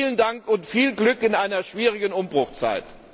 Vielen Dank und viel Glück in einer schwierigen Umbruchzeit!